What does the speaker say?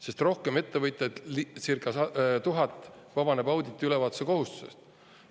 Sest rohkem ettevõtjaid, circa 1000 vabaneb auditi-ülevaatuse kohustusest.